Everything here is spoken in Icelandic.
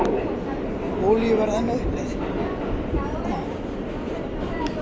Olíuverð enn á uppleið